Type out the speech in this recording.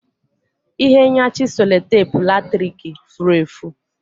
Ihe nyachi sellotape latrik furu efu